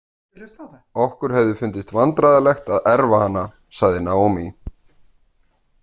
Okkur hefði fundist vandræðalegt að erfa hana, sagði Naomi.